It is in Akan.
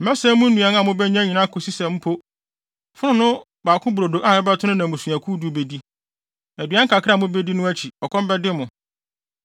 Mɛsɛe mo nnuan a mubenya nyinaa akosi sɛ mpo, fononoo baako brodo a ɛbɛto no na mmusuakuw du bedi. Aduan kakra a mubedi no akyi, ɔkɔm bɛde mo.